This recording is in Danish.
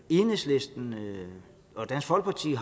enhedslisten og dansk folkeparti